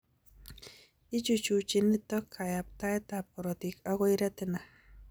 Ichuchuchi nitok kayaptaetab korotik akoi retina